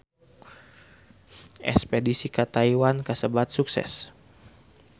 Espedisi ka Taiwan kasebat sukses